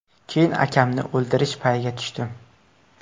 Keyin akamni o‘ldirish payiga tushdim.